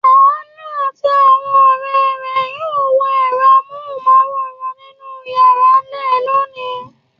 Àánú àti àwọn ọ̀rẹ́ rẹ̀ yóò wo ẹ̀rọ amóhùmáwòhán nínú ìyàrá rẹ̀ lónìí.